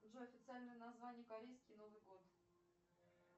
джой официальное название корейский новый год